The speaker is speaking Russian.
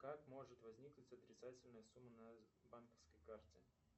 как может возникнуть отрицательная сумма на банковской карте